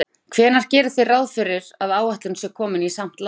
Páll: Hvenær gerið þið ráð fyrir að áætlun sé komin í samt lag?